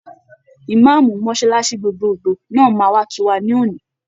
Ìmáàmù mọ́sálásí gbogbogbò náà máa wá kí wa ní òní.